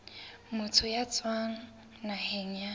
motho ya tswang naheng ya